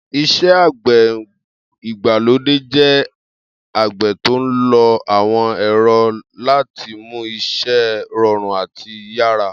Is̩é̩ àgbè̩ ìgbàlódé jé̩ àgbè̩ tó ń lo àwo̩n è̩ro̩ láti mú is̩é̩ ro̩rùn àti yárà.